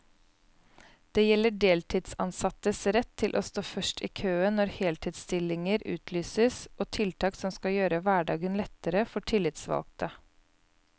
Det gjelder deltidsansattes rett til å stå først i køen når heltidsstillinger utlyses og tiltak som skal gjøre hverdagen lettere for tillitsvalgte.